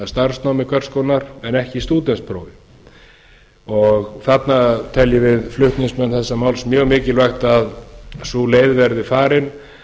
starfsnámi hvers konar en ekki stúdentsprófi þarna teljum við flutningsmenn þessa máls mjög mikilvægt að sú leið verði farin